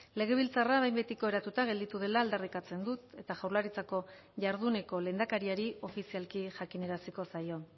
legebiltzarra behin betiko eratuta gelditu dela alderrikatzen dut eta jaurlaritzako jarduneko lehendakariari ofizialki jakinaraziko zaio